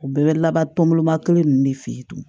U bɛɛ bɛ laban tɔnbɔlɔma kelen ninnu de fe yen